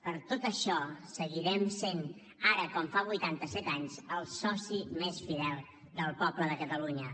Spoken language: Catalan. per tot això seguirem sent ara com fa vuitanta set anys el soci més fidel del poble de catalunya